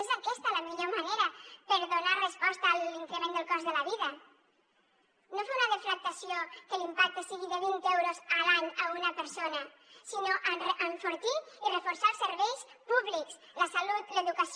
és aquesta la millor manera per donar resposta a l’increment del cost de la vida no fer una deflactació que l’impacte sigui de vint euros a l’any a una persona sinó enfortir i reforçar els serveis públics la salut l’educació